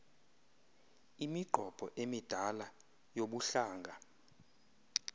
imiqobo emidala yobuhlanga